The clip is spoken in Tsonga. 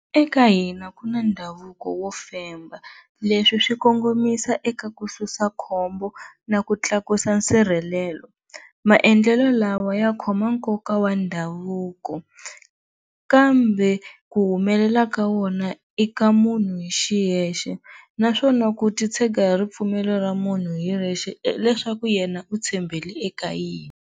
Eka hina ku na ndhavuko wo femba leswi swi kongomisa eka ku susa khombo na ku tlakusa sirhelelo, maendlelo lawa ya khoma nkoka wa ndhavuko kambe ku humelela ka wona i ka munhu hi xiyexe naswona ku titshega hi ripfumelo ra munhu hi yexe hileswaku yena u tshembele eka yini.